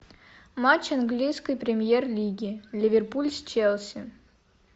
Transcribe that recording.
матч английской премьер лиги ливерпуль с челси